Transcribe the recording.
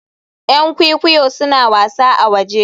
Yan kwikwiyo suna wasa a waje